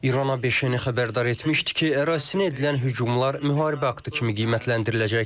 İrana öncədən xəbərdar etmişdi ki, ərazisinə edilən hücumlar müharibə aktı kimi qiymətləndiriləcək.